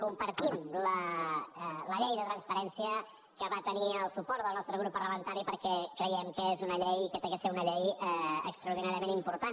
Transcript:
compartim la llei de transparència que va tenir el suport del nostre grup parlamentari perquè creiem que és una llei que ha de ser una llei extraordinàriament important